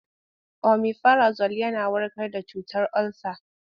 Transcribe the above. Omifirazol yana warkar da cutar olsa.